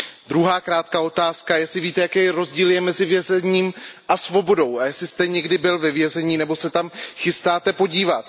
Druhá krátká otázka, jestli víte, jaký rozdíl je mezi vězením a svobodou a jestli jste někdy byl ve vězení nebo se tam chystáte podívat?